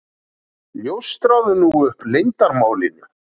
Ljóstraðu nú upp leyndarmálinu.